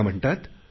त्या म्हणतात